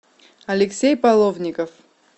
алексей половников